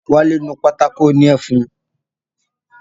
Wálé nu pátákó òní ẹfun